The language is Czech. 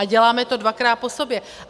A děláme to dvakrát po sobě.